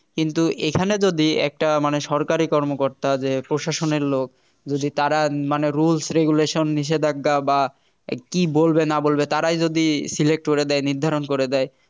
কিন্তু এখানে যদি একটা মানে সরকারি কর্মকর্তা যে প্রশাসনের লোক যদি তারা মানে rules regulation নিষেধাজ্ঞা বা কি বলবে না বলবে তারাই যদি select করে দেয় নির্ধারণ করে দেয়